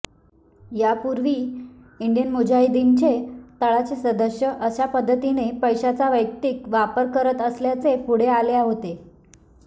यापूर्वी इंडियन मुजाहिदीनचे तळाचे सदस्य अशा पद्धतीने पैशांचा वैयक्तिक वापर करत असल्याचे पुढे आले होते